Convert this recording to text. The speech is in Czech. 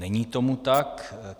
Není tomu tak.